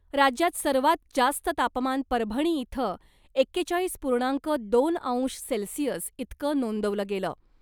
राज्यात सर्वात जास्त तापमान परभणी इथं एकेचाळीस पूर्णांक दोन अंश सेल्सिअस इतकं नोंदवलं गेलं .